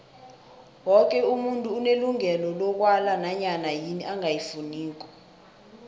woke umuntu unelungelo lokwala nanyana yini angayifuniko